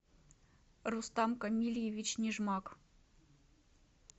рустам камильевич нижмак